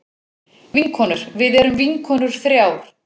Vinkonur við erum vinkonur þrjár.